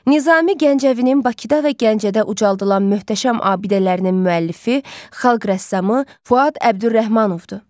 Nizami Gəncəvinin Bakıda və Gəncədə ucaldılan möhtəşəm abidələrinin müəllifi xalq rəssamı Fuad Əbdürrəhmanovdur.